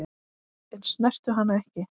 En snertu hana ekki.